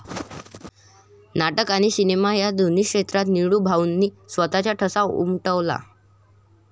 नाटक आणि सिनेमा या दोन्ही क्षेत्रात निळूभाऊंनी स्वतःचा ठसा उमटवला.